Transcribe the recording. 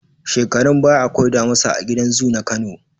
Shekarun baya akwai damusa a gidan zu na Kano.